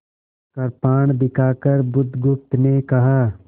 कृपाण दिखाकर बुधगुप्त ने कहा